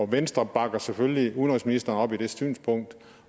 venstre bakker selvfølgelig udenrigsministeren op i det synspunkt